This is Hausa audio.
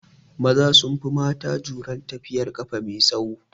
Maza sun fi mata jurar tafiyar ƙafa mai tsaho